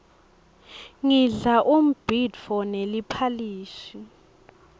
ngidla umbhidvo neliphalishi